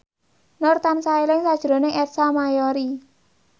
Nur tansah eling sakjroning Ersa Mayori